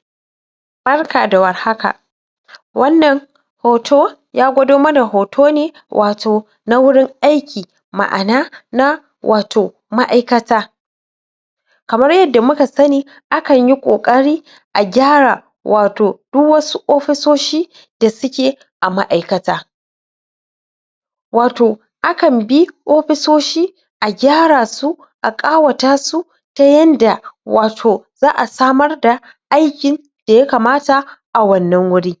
? barka da warhaka wannan hoto ya gwado mana hoto ne wato na wurin aiki ma'ana na wato ma'aikata kamar yadda muka sani akan yi ƙoƙari a gyara wato du wasu ofisoshi da suke a ma'aikata wato akan bi opisoshi a gyara su a ƙawata su ya yanda wato za'a samar da aikin da yakamata a wannan wuri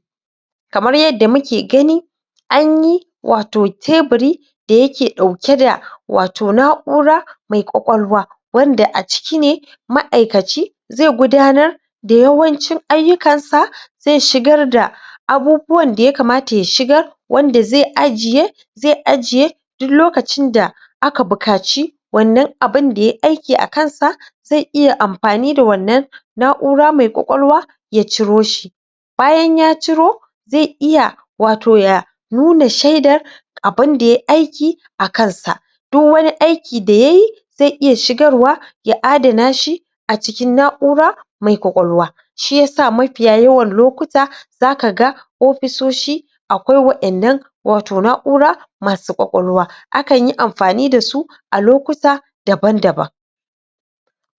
kamar yadda muke gani anyi wato tebiri da yake ɗauke da wato na'ura mai ƙwaƙwalwa wanda a ciki ne ma'aikaci ze gudanar da yawancin ayyukansa ze shigar da abubuwan da yakamata ya shigar wanda ze ajiye ze ajiye duk lokacin da aka bukaci wannan abin da yayi aiki a kansa ze iya ampani da wannar na'ura mai ƙwaƙwalwa ya ciro shi bayan ya ciro ze iya wato ya nuna shaidar abun da yayi aiki akan sa duk wani aiki da yayi ze iya shigar wa ya adana shi a cikin na'ura mai ƙwaƙwalwa shiyasa mafiya yawan lokuta zakaga opisoshi akwai wa'innan wato na'ura masu ƙwaƙwalwa akan yi amfani dasu a lokuta daban daban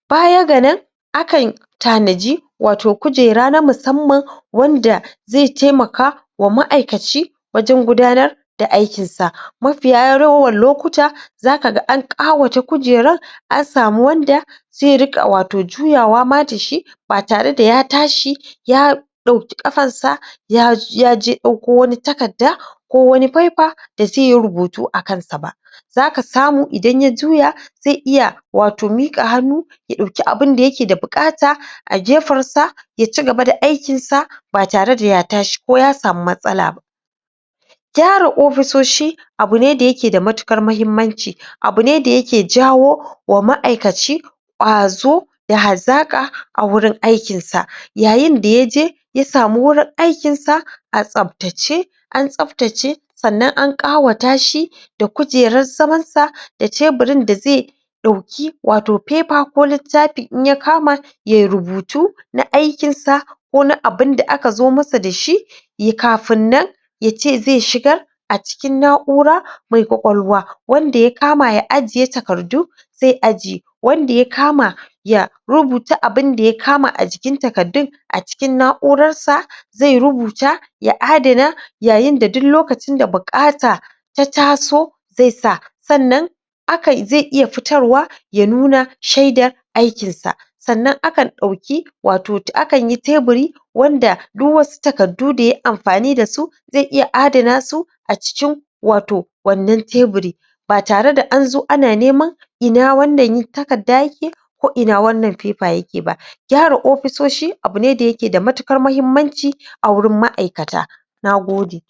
baya ga nan akan tanaji wato kujera na musamman wanda ze taimaka wa ma'aikaci wajen gudanar da aikinsa mafiya yawaran lokuta zaka ga an ƙawata kujeran an samu wanda ze riƙa wato juyawa ma dashi ba tare da ya tashi ya ɗauki ƙafansa ya yaje ɗauko wani takadda ko wani paipa da ze yi rubutu akan sa ba zaka samu idan ya juya ze iya wato miƙa hannu ya ɗauki abunda yake da buƙata a gefensa ya cigaba da aikinsa ba tare da ya tashi ko ya samu matsala ba gyara ofisoshi abu ne da yake da matuƙar muhimmanci? abu ne da yake jawo wa ma'aikaci ƙwazo da hazaƙa a wurin aikinsa yayin da yaje ya samu wurin aikin sa a tsaptace an tsaptace sannan an ƙawata shi da kujeran zamansa da tebirin da zai ɗauki wato pepa ko littapi in ya kama yai rubutu na aikinsa ko na abunda aka zo musu dashi ye kafin nan yace ze shigar a cikin na'ura mai ƙwaƙwalwa wanda ya kama ya ajiye takardu ze ajiye wanda ya kama ya rubuta abunda ya kama a jikin takaddun a cikin na'urarsa zai rubuta ya adana yayin da duk lokacin da buƙata ta taso ze sa sannan akai zai iya fitarwa ya nuna shaida aikinsa sannan akan ɗauki wato ta akanyi tebiri wanda duk wasu takaddu da yayi amfani dasu ze iya adana su a cikin wato wannan tebiri ba tare da anzo ana neman ina wannan takadda yake ko ina wannan pepa yake ba gyara opisoshi abu ne da yake da matuƙar muhimmanci a wurin ma'aikata nagode